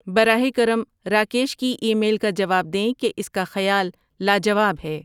براہ کرم راکیش کی ای میل کا جواب دیں کہ اس کا خیال لاجواب ہے